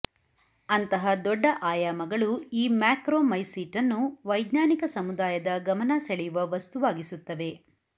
ಅಂತಹ ದೊಡ್ಡ ಆಯಾಮಗಳು ಈ ಮ್ಯಾಕ್ರೊಮೈಸೀಟನ್ನು ವೈಜ್ಞಾನಿಕ ಸಮುದಾಯದ ಗಮನ ಸೆಳೆಯುವ ವಸ್ತುವಾಗಿಸುತ್ತವೆ